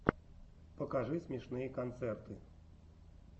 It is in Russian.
покажи смешные концерты